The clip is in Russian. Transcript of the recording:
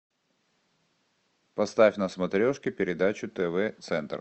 поставь на смотрешке передачу тв центр